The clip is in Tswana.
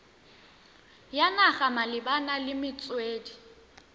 ya naga malebana le metswedi